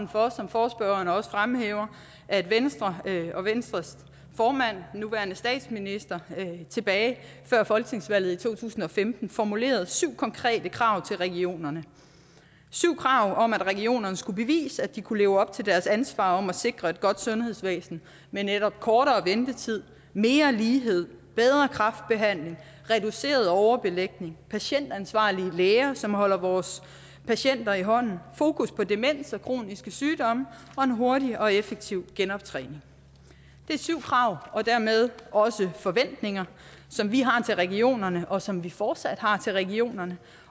for som forespørgeren også fremhæver at venstre og venstres formand nuværende statsminister tilbage før folketingsvalget i to tusind og femten formulerede syv konkrete krav til regionerne syv krav om at regionerne skulle bevise at de kunne leve op til deres ansvar om at sikre et godt sundhedsvæsen med netop kortere ventetid mere lighed bedre kræftbehandling reduceret overbelægning patientansvarlige læger som holder vores patienter i hånden fokus på demens og kroniske sygdomme og en hurtig og effektiv genoptræning det er syv krav og dermed også forventninger som vi har til regionerne og som vi fortsat har til regionerne